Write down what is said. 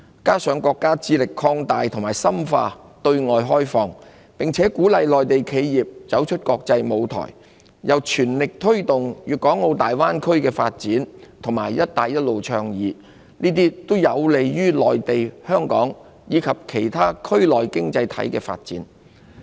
此外，國家致力擴大和深化對外開放，鼓勵內地企業走出國際舞台，並全力推動粵港澳大灣區發展及"一帶一路"倡議，這些均有利於內地、香港及其他區內經濟體的發展。